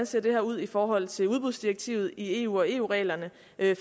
ser ud i forhold til udbudsdirektivet i eu og eu reglerne